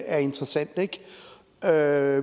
er interessant der